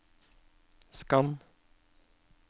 skann